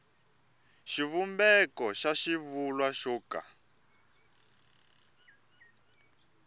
xivumbeko xa xivulwa xo ka